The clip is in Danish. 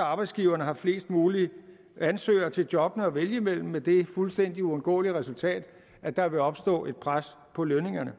har arbejdsgiverne flest mulige ansøgere til jobbene at vælge imellem med det fuldstændig uundgåelige resultat at der vil opstå et pres på lønningerne